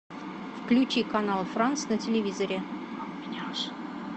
включи канал франц на телевизоре